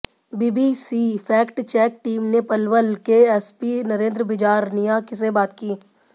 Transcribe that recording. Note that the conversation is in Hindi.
बीबीसी फैक्ट चेक टीम ने पलवल के एसपी नरेंद्र बिजारनिया से बात की